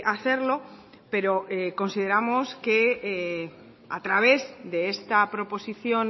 hacerlo pero consideramos que a través de esta proposición